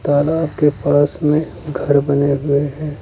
तालाब के पास में घर बने हुए हैं।